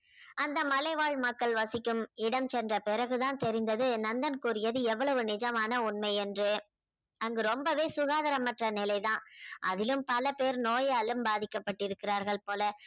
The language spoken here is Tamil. அந்த மலைவாழ் மக்கள் வசிக்கும் இடம் சென்ற பிறகு தான் தெரிந்தது நந்தன் கூறியது எவ்வளவு நிஜமான உண்மை என்று அங்கு ரொம்பவே சுகாதாரமற்ற நிலை தான். அதிலும் பல பேர் நோயாலும் பாதிக்கப்பட்டிருக்கிறார்கள் போல